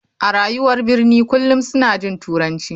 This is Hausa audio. A rayuwar birni kullum suna jin turanci.